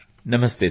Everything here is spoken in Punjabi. ਨਮਸਤੇ ਸਰ